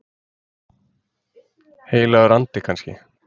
Heilagur andi kannski?